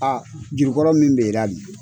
Aa juru kɔrɔ mun bi la dun ?